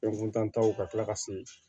Fɛn kuntan taw ka tila ka se